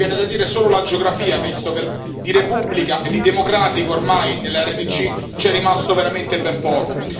Mi viene da dire solo la geografia, visto che di repubblica e di democratico ormai nell'RDC c'è rimasto veramente ben poco.